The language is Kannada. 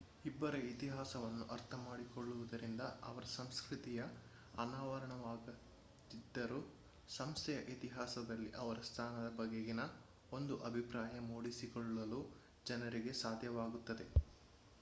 ಒಬ್ಬರ ಇತಿಹಾಸವನ್ನು ಅರ್ಥ ಮಾಡಿಕೊಳ್ಳುವುದರಿಂದ ಅವರ ಸಂಸ್ಕೃತಿಯ ಅನಾವರಣವಾಗದಿದ್ದರೂ ಸಂಸ್ಥೆಯ ಇತಿಹಾಸದಲ್ಲಿ ಅವರ ಸ್ಥಾನದ ಬಗೆಗಿನ ಒಂದು ಅಭಿಪ್ರಾಯ ಮೂಡಿಸಿಕೊಳ್ಳಲು ಜನರಿಗೆ ಸಾಧ್ಯವಾಗುತ್ತದೆ